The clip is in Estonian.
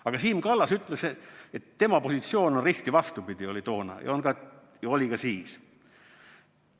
Aga Siim Kallas ütles, et tema positsioon on risti vastupidi, oli toona ja oli ka siis.